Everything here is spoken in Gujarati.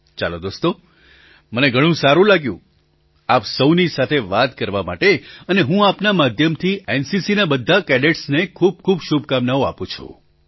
ચાલો દોસ્તો મને ઘણું સારું લાગ્યું આપ સહુની સાથે વાત કરવા માટે અને હું આપના માધ્યમથી એનસીસીના બધા કેડેટસને ખૂબ ખૂબ શુભકામનાઓઆપું છું